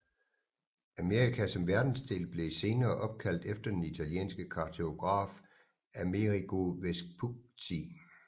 Amerika som verdensdel blev senere opkaldt efter den italienske kartograf Amerigo Vespucci